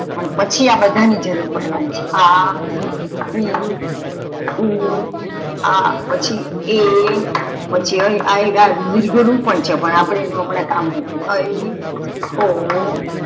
પણ પછી અ બધા ની જરૂર પડવાની છે આ, ઈ ઉ આ અને પછી એ પછી ઐ ઋ પણ છે પણ અપડે એનું કામ નથી હમણાં ઐ ઓ